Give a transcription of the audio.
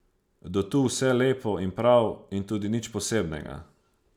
Do tu vse lepo in prav in tudi nič posebnega.